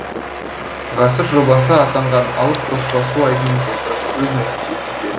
ғасыр жобасы атанған алып тоспа су айдынын толтырып өз нәтижесін берді